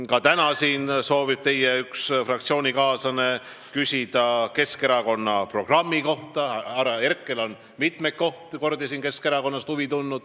Ka täna soovib üks teie fraktsioonikaaslane küsida Keskerakonna programmi kohta, härra Herkel on siin mitmeid kordi tundnud huvi Keskerakonna vastu.